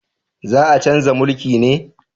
Za a chanza mulki ne?